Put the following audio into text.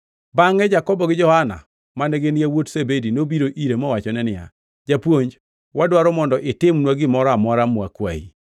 Bangʼe Jakobo gi Johana, mane gin yawuot Zebedi, nobiro ire mowachone niya, “Japuonj, wadwaro mondo itimnwa gimoro amora mwakwayi.”